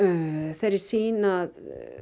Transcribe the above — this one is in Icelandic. þeirri sýn að